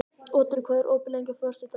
Otri, hvað er opið lengi á föstudaginn?